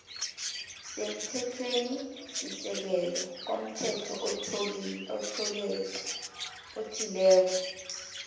semthethwenisisekelo komthetho othileko